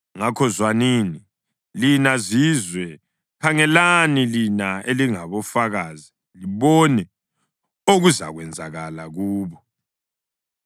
Ngakho zwanini, lina zizwe, khangelani, lina elingofakazi, libone okuzakwenzakala kubo.